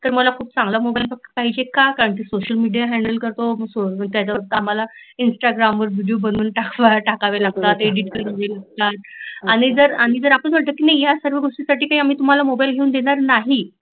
आणि का मला चांगला मोबाईल पाहिजे का तर मी सोशल मिडीया हैंडल करतो, त्याच कामाला इन्स्टाग्राम वर व्हि़डीयो बनवून टाकावे लागतात आणि जर आपण म्हटल की या सर्व गोष्टींसाठी आम्ही तुम्हाला मोबाईल घेऊन देणार नाही